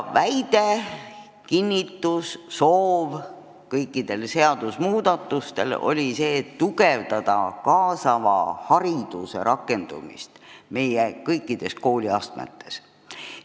Väidetavasti oli eesmärk soodustada kaasava hariduse rakendamist meie kõikides kooliastmetes.